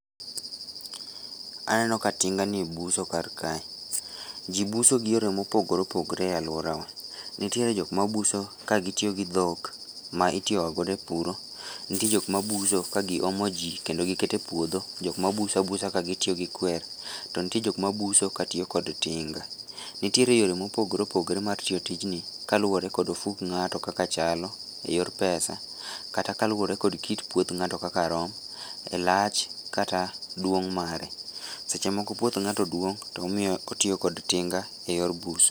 Aneno ka tinga ni buso kar kae. Ji buso gi yore mopogore opogore e alworawa. Nitiere jok mabuso ka gitiyo gi dhok, ma itiyogagodo e puro. Nitie jok ma buso ka giomo ji kendo giketo e puodho, jok ma buso a busa ka gitiyo gi kwer, to nitie jok ma buso ka gitiyo gi tinga. Nitiere yore ma opogore opogore mar tiyo tijni, kaluwore kod ofuk ngáto kaka chalo e yor pesa, kata kaluwore kod kit puoth ngáto kaka rom, e lach kata duong' mare. Seche moko puoth ngáto duong', to omiyo, otiyo kod tinga e yor buso.